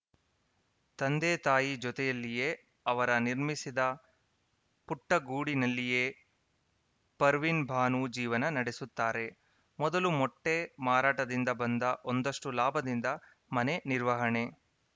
ತಂದೆತಾಯಿ ಜೊತೆಯಲ್ಲಿಯೇ ಅವರ ನಿರ್ಮಿಸಿದ ಪುಟ್ಟಗೂಡಿನಲ್ಲಿಯೇ ಪರ್ವಿನ್‌ಬಾನು ಜೀವನ ನಡೆಸುತ್ತಾರೆ ಮೊದಲು ಮೊಟ್ಟೆಮಾರಾಟದಿಂದ ಬಂದ ಒಂದಷ್ಟುಲಾಭದಿಂದ ಮನೆ ನಿರ್ವಹಣೆ